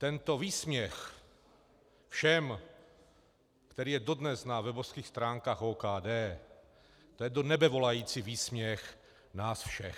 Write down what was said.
Tento výsměch všem, který je dodnes na webovských stránkách OKD, to je do nebe volající výsměch nám všem.